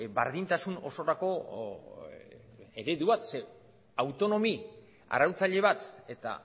berdintasun osorako ereduak ze autonomi arautzaile bat eta